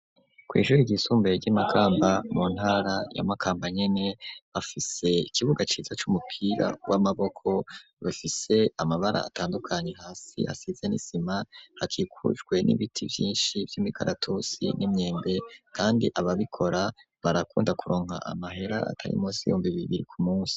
kwishure ryisumbuye ry'imakamba, mu ntara ya makamba nyene, bafise ikibuga ciza c'umupira w'amaboko , bafise amabara atandukanye hasi hasize nisima hakikujwe n'ibiti vyinshi vy'imikaratusi n'imyembe , kandi ababikora barakunda kuronka amahera atari munsi y'ibihumbi bibiri ku munsi.